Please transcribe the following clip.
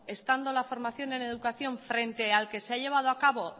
estando la formación en educación frente al que se ha llevado acabo